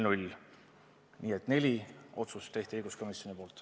Nii et neli otsust tehti õiguskomisjonis.